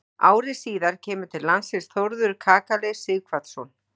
Ári síðar kemur til landsins Þórður kakali Sighvatsson.